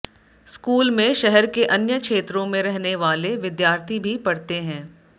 school में शहर के अन्य क्षेत्रों में रहने वाले विद्यार्थी भी पढ़ते हैं